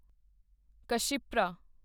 Kshipra